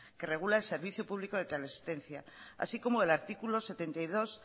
que regula el servicio público de teleasistencia así como el artículo setenta y dos